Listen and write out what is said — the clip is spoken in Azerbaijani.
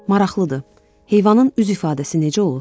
Maraqlıdır, heyvanın üz ifadəsi necə olur?